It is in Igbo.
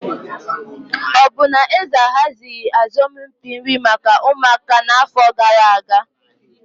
Ọ bụ na eze ahazighị asọmpi nri maka ụmụaka n'afọ gara aga?